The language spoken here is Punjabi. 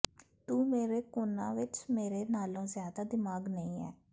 ਤੂੰ ਮੇਰੇ ਕੋਨਾਂ ਵਿਚ ਮੇਰੇ ਨਾਲੋਂ ਜ਼ਿਆਦਾ ਦਿਮਾਗ ਨਹੀਂ ਹੈ